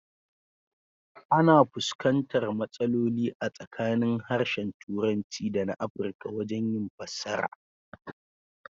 Ana fuskantar matsaloli a tsakanin harshen Turanci dana Afrika wajen yin fassara.